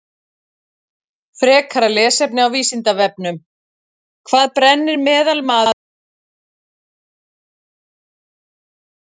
Frekara lesefni á Vísindavefnum: Hvað brennir meðalmaðurinn mörgum hitaeiningum í maraþonhlaupi?